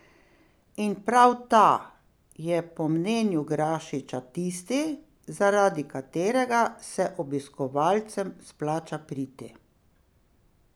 In prav ta je po mnenju Grašiča tisti, zaradi katerega se obiskovalcem splača priti.